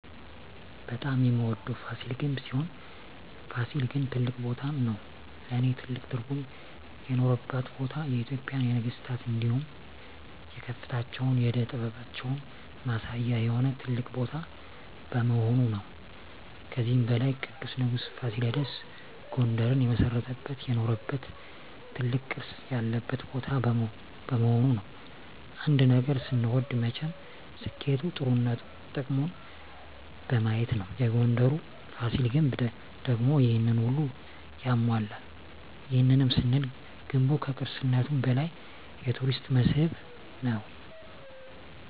በጣም የምወደዉ ፋሲል ግንብ ሲሆን ፋሲል ግን ትልቅ ቦታም ነዉ ለእኔ ትልቅ ትርጉም የኖረባት ቦታ የኢትጵያን የነገስታት እንዲሁም የከፍታችን የእደ ጥበባችን ማሳያ የሆነ ትልቅ ቦታ በመሆኑ ነዉ። ከዚህም በላይ ቅዱሱ ንጉስ ፋሲለደስ ጉንደርን የመሰረተበት የኖረበት ትልቅ ቅርስ ያለበት ቦታ በመሆኑ ነዉ። አንድ ነገር ስንወድ መቸም ስኬቱ ጥሩነቱ ጥቅሙን በማየት ነዉ የጉንደሩ ፋሲል ግንብ ደግሞ ይሄንን ሁሉ ያሟላል ይህንንም ስንል ገንቡ ከቅርስነቱም በላይ የቱሪስት መስህብ ነዉ።